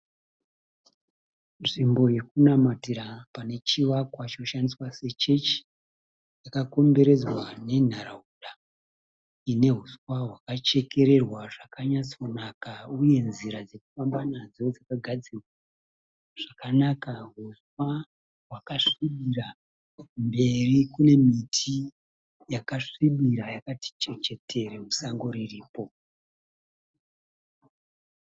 Nzvimbo yokunamatira pane chivakwa choshandiswa se chechi. Chakakomberedzwa nenharaunda ine huswa hwakachekererwa zvakanyatsonaka uye nzira dzokufamba nadzo dzakagadzirwa zvakanaka. Huswa hwakasvibira mberi kune miti yakasvibira yakati chechetere musango riripo.